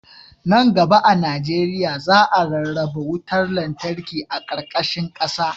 Nan gaba a najeriya, za a rarraba wutar lantarki a ƙarƙashin ƙasa..